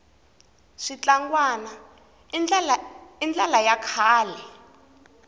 switlangwana i ndlala ya kahle